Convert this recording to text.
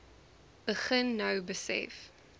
begin nou besef